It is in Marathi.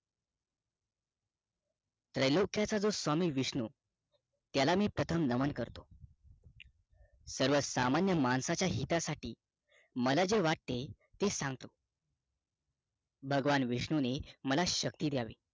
त्रैलोक्य चा स्वामी विष्णू त्याला प्रथम मी नमन करतो सर्वसामान्य माणसाचा हितासाठी मला जे वाटते ते सांगतो भगवान विष्णूनी मला शक्ती द्यावी